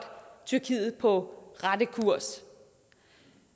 tyrkiet på rette kurs